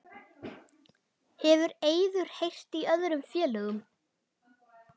Hefur Eiður heyrt í öðrum félögum?